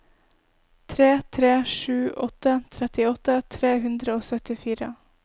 tre tre sju åtte trettiåtte tre hundre og syttifire